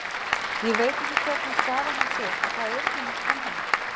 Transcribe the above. Ég veit ekki hvernig staða hans er og það er ekki mitt vandamál.